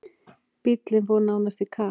Bíllinn fór nánast í kaf.